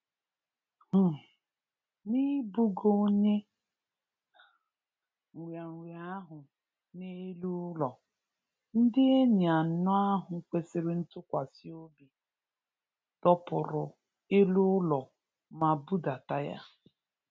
um N’ibugo onye um nrịarịa ahụ n’elu ụlọ, ndị enyi anọ ahụ kwesịrị ntụkwasị obi, dọpụrụ elu ụlọ ma budata ya.